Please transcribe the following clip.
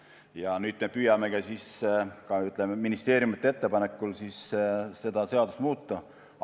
Ja nüüd me püüamegi ministeeriumide ettepanekul seda seadust muuta.